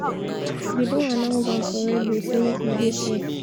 dey don announce am for radio say make we dey fair.